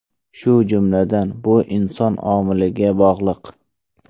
Shu jumladan, bu inson omiliga bog‘liq.